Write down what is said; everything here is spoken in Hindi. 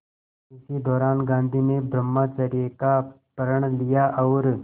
इसी दौरान गांधी ने ब्रह्मचर्य का प्रण लिया और